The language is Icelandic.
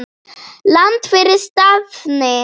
Land fyrir stafni!